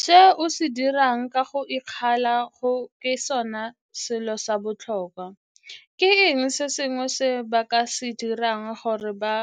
Se o se dirang ka go ikgalala go ke sone selo sa botlhokwa. Ke eng se sengwe se ba ka se dirang gore ba